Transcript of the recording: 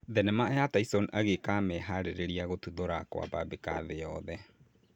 Thenema ya Tyson agĩĩka meharĩrĩria gũtuthũra kwambambĩka thĩ yothe